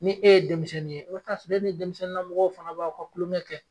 Ni e ye denmisɛnnin ye e be taa soro e ni denmisɛnnin na mɔgɔw fana b'aw ka kulon kɛ